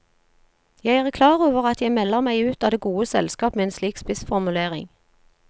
Jeg er klar over at jeg melder meg ut av det gode selskap med en slik spissformulering.